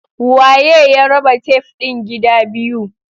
Waye ya raba tef din gida biyu?